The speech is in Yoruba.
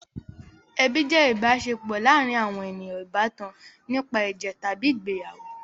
Ẹbi jẹ́ ìbáṣepọ̀ láàárin àwọn ènìyàn ìbátan nípa ẹ̀jẹ̀ tàbí ìgbéyàwó.